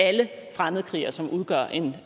alle fremmedkrigere som udgør en